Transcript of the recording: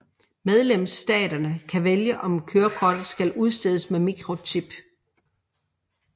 Medlemsstaterne kan vælge om kørekortet skal udstedes med mikrochip